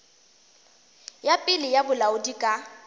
ya pele ya bolaodi ka